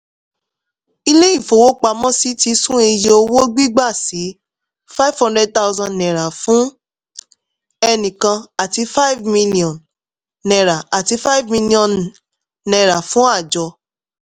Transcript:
ilé ìfowópamọ́sí ti sún iye owó gbígbà sí ₦ five hundred thousand fún ẹnìkan àti ₦ five million àti ₦ five million fún àjọ.